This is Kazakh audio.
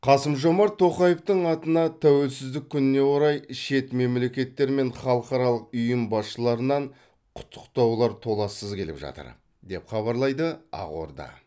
қасым жомарт тоқаевтың атына тәуелсіздік күніне орай шет мемлекеттер мен халықаралық ұйым басшыларынан құттықтаулар толассыз келіп жатыр деп хабарлайды ақорда